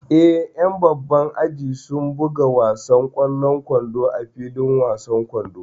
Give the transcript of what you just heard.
Eh, ƴan babban aji sun buga wasan ƙwallon kwando a filin wasan kwando